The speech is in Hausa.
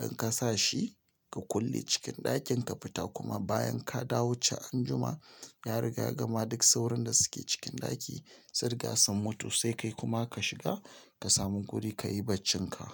In ka sa shi ka kulle cikin ɗakin, ka fita kuma bayan ka dawo can anjima, ya riga ya gama duk sauron da suke cikin ɗaki sun riga sun mutu, sai kai kuma ka shiga ka samu guri ka yi baccinka.